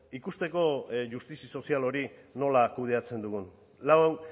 ikusteko justizi sozial hori nola kudeatzen dugun lau